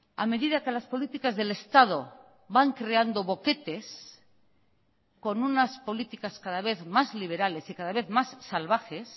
a medida que las políticas del estado van creando boquetes con unas políticas cada vez más liberales y cada vez más salvajes